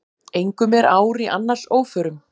Engum er ár í annars óförum.